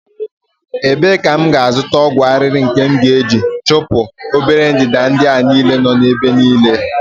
ebee ka m ga-azụta ọgwụ arịrị nke m ga-eji chụpụ obere ndanda ndị a niile nọ n'ebe niile?